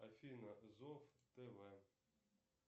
афина зов тв